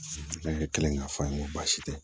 Ne bɛ kelen k'a fɔ an ye n ko baasi tɛ